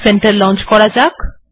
এবার এটিকে লন্চ করা যাক